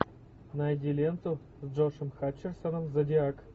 найди ленту с джошем хатчерсоном зодиак